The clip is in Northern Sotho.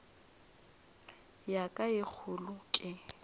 ya ka ye kgolo ke